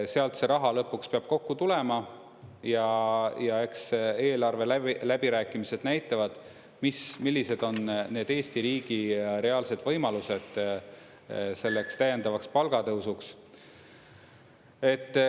Sealt see raha lõpuks peab kokku tulema ja eks eelarve läbirääkimised näitavad, millised on need Eesti riigi reaalsed võimalused selleks täiendavaks palgatõusuks.